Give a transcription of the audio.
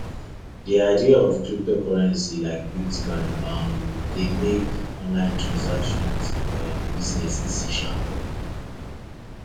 the idea of cryptocurrency like bitcoin um dey make online transaction and um business easy um